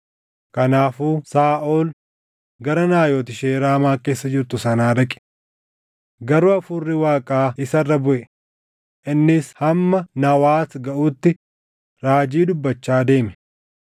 Kanaafuu Saaʼol gara Naayot ishee Raamaa keessa jirtu sanaa dhaqe. Garuu Hafuurri Waaqaa isaa irra buʼe; innis hamma Nawaat gaʼutti raajii dubbachaa deeme.